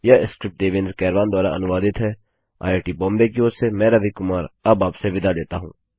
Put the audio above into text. यह स्क्रिप्ट देवेन्द्र कैरवान द्वारा अनुवादित हैआईआईटी बॉम्बे की ओर से मैं रवि कुमार अब आपसे विदा लेता हूँ